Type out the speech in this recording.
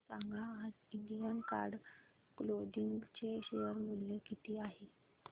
सांगा आज Indian card clothing चे शेअर मूल्य किती आहे